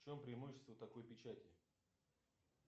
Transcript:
в чем преимущество такой печати